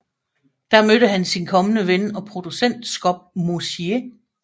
Der mødte han sin kommende ven og producent Scott Mosier